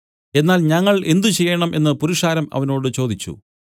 എന്നാൽ ഞങ്ങൾ എന്ത് ചെയ്യേണം എന്നു പുരുഷാരം അവനോട് ചോദിച്ചു